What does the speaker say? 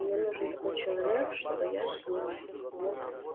мне нужен такой человек чтобы я с ним мог